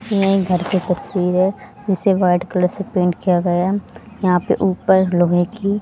ये घर के तस्वीर है जिसे व्हाइट कलर से पेंट किया गया है यहां पे ऊपर लोहे की--